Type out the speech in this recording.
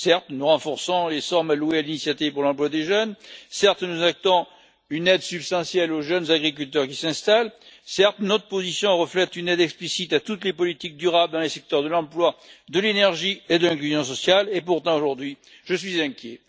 Certes, nous renforçons les sommes allouées à l'initiative pour l'emploi des jeunes, certes, nous actons une aide substantielle aux jeunes agriculteurs qui s'installent, certes, notre position reflète une aide explicite à toutes les politiques durables dans les secteurs de l'emploi, de l'énergie et de l'inclusion sociale et, pourtant, aujourd'hui, je suis inquiet.